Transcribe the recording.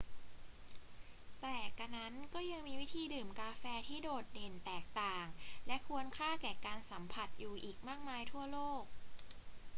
แต่กระนั้นก็ยังมีวิธีดื่มกาแฟที่โดดเด่นแตกต่างและควรค่าแก่การสัมผัสอยู่อีกมากมายทั่วโลก